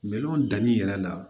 danni yɛrɛ la